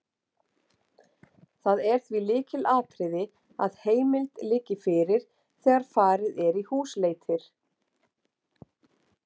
Það er því lykilatriði að heimild liggi fyrir þegar farið er í húsleitir.